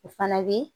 O fana bi